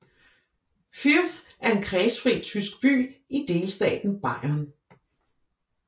Fürth er en kredsfri tysk by i delstaten Bayern